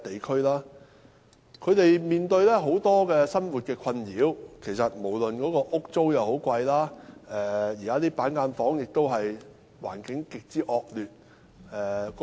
他們面對很多生活困擾，例如租金昂貴，難以負擔，而板間房的環境亦極之惡劣。